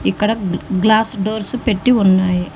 ఇక్కడ glass doors పెట్టి ఉన్నాయి.